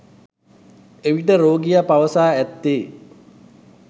එවිට රෝගියා පවසා ඇත්තේ